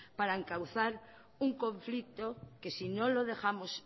para encauzar un conflicto que si no lo dejamos